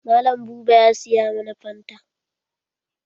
Mallam buba ya siya mana fanta.